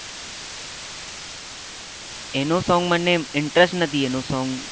એનું સોંગ મને interest નથી એનું સોંગ